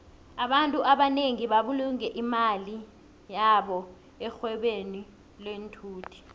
abantfu abanengi babulunge imali yabo erhwebeni lenthuthi